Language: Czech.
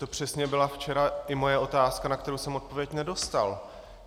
To přesně byla včera i moje otázka, na kterou jsem odpověď nedostal.